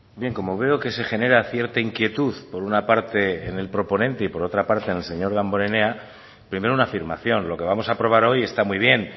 bien como veo que se genera cierta inquietud por una parte en el proponente y por otra parte en el señor damborenea primero una afirmación lo que vamos a aprobar hoy está muy bien